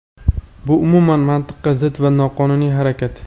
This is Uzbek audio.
bu umuman mantiqqa zid va noqonuniy harakat!.